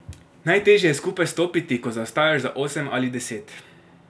Najtežje je skupaj stopiti, ko zaostajaš za osem ali deset.